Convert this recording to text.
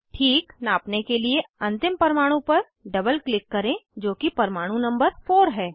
ठीक नापने के लिए अंतिम परमाणु पर डबल क्लिक करें जो कि परमाणु नंबर 4 है